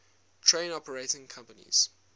train operating companies